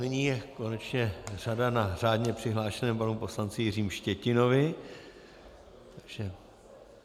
Nyní je konečně řada na řádně přihlášeném panu poslanci Jiřím Štětinovi.